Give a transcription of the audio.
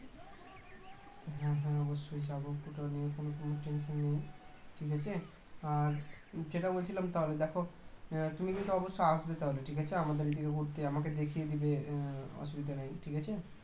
হ্যাঁ, হ্যাঁ অবশ্যই যাবো ওটা নিয়ে কোনো সংশয় নেই ঠিক আছে আর যেটা বলছিলাম তাহলে দেখো তুমি কিন্তু অবশ্যই আসবে তাহলে ঠিক আছে আমাদের এদিকে বলতে আমাকে দেখিয়ে দিবে অসুবিধা নেই ঠিক আছে